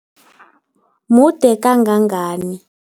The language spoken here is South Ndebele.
Mude kangangani?